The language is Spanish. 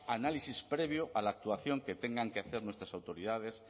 análisis previo a la actuación que tengan que hacer nuestras autoridades